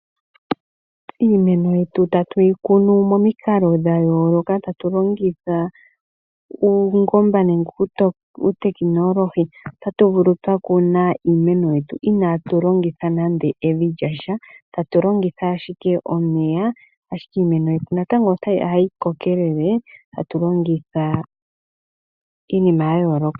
Iimeno yetu tatu yi kuno momikalo dha yooloka tatu longitha uungomba nenge uutekinoolohi. Otatu vulu twa kuna iinaatu longitha nande evi lyasha, tatu longitha ashike omeya, ashike iimeno Yetu natango otayi kokelele atu longitha iinima ya yooloka.